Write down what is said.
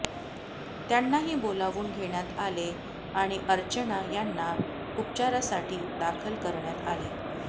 त्यांनाही बोलावून घेण्यात आले आणि अर्चना यांना उपचारासाठी दाखल करण्यात आले